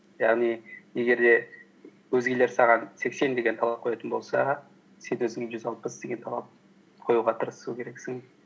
яғни егер де өзгелер саған сексен деген талап қоятын болса сен өзіңе жүз алпыс деген талап қоюға тырысу керексің